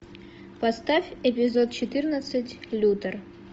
поставь эпизод четырнадцать лютер